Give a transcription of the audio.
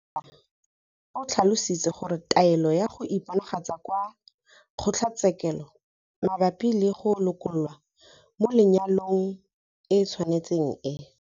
Peta o tlhalositse gore taelo ya go iponagatsa kwa kgotlatshe-kelo mabapi le go lokololwa mo lenyalong e tshwanetse e